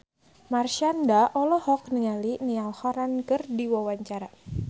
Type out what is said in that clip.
Marshanda olohok ningali Niall Horran keur diwawancara